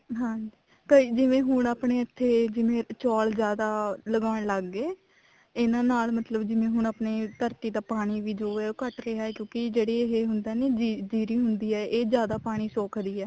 ਹਾਂਜੀ ਕਈ ਜਿਵੇਂ ਆਪਣੇ ਇੱਥੇ ਚੋਲ ਜਿਆਦਾ ਲਗਾਉਣ ਲੱਗ ਗਏ ਇਹਨਾ ਨਾਲ ਮਤਲਬ ਹੁਣ ਜਿਵੇਂ ਆਪਣੇ ਧਰਤੀ ਦਾ ਪਾਣੀ ਵੀ ਜੋ ਉਹ ਘਟ ਰਿਹਾ ਕਿਉਂਕਿ ਜਿਹੜੀ ਇਹ ਹੁੰਦਾ ਨੀ ਜੀਰੀ ਹੁੰਦੀ ਆ ਇਹ ਜਿਆਦਾ ਪਾਣੀ ਸੋਖਦੀ ਹੈ